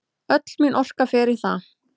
Öll mín orka fer í það.